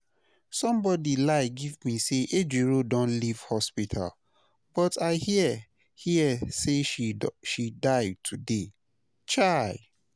Somebody lie give me say Ejiro don leave hospital but I hear hear say she die today, chai!